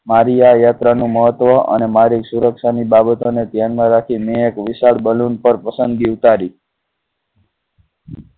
મારી આ યાત્રા નું મહત્વ અને મારી સુરક્ષા ની બાબતો ને ધ્યાન માં રાખી ને એક વિશાળ balloon પર પસંદગી ઉતારી.